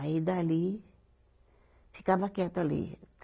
Aí dali, ficava quieta ali.